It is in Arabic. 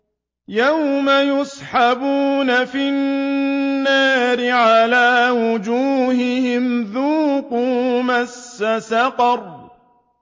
يَوْمَ يُسْحَبُونَ فِي النَّارِ عَلَىٰ وُجُوهِهِمْ ذُوقُوا مَسَّ سَقَرَ